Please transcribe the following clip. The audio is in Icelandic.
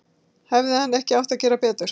Hefði hann ekki átt að gera betur?